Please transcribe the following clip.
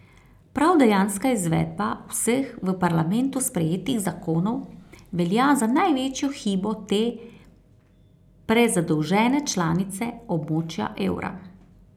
Prav dejanska izvedba vseh v parlamentu sprejetih zakonov velja za največjo hibo te prezadolžene članice območja evra.